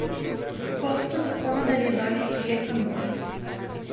Pot so tako nadaljevali trije kanuji.